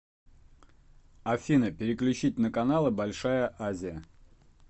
афина переключить на каналы большая азия